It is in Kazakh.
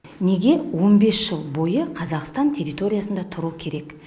неге он бес жыл бойы қазақстан территориясында тұруы керек